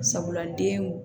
Sabula denw